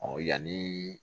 Ɔ yanni